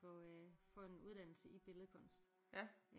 Få øh få en uddannelse i billedkunst